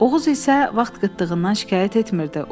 Oğuz isə vaxt qıtlığından şikayət etmirdi.